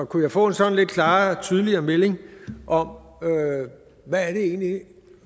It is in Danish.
kunne jeg få en sådan en klarere og tydeligere mening om hvad det egentlig er